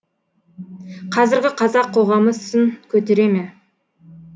қазіргі қазақ қоғамы сын көтере ме